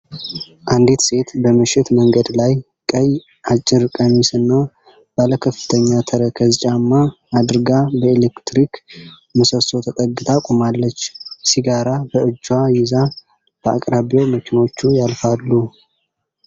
አንዲት ሴት በምሽት መንገድ ላይ፣ ቀይ አጭር ቀሚስና ባለከፍተኛ ተረከዝ ጫማ አድርጋ በኤሌክትሪክ ምሰሶ ተጠግታ ቆማለች። ሲጋራ በእጇ ይዛ፣ በአቅራቢያው መኪኖች ያልፋሉ።